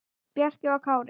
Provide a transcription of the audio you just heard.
Bjarki og Kári.